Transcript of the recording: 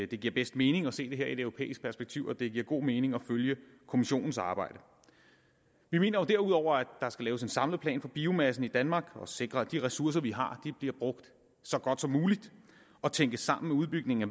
det giver bedst mening at se det her i et europæisk perspektiv og det giver god mening at følge kommissionens arbejde vi mener jo derudover at der skal laves en samlet plan for biomassen i danmark for at sikre at de ressourcer vi har bliver brugt så godt som muligt og tænkes sammen med udbygningen af